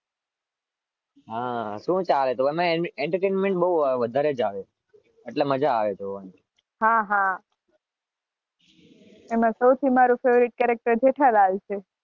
હા શું ચાલે?